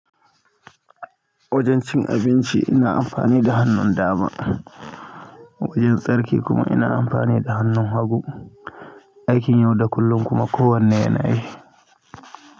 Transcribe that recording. Wajen cin abinci ina amfani da hannun dama, wajen tsarki kuma ina amfani da hannun hagu. Aikin yau da kullum kuma kowane yana yi.